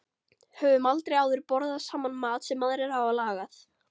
Höfum aldrei áður borðað saman mat sem aðrir hafa lagað.